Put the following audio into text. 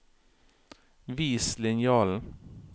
Vis linjalen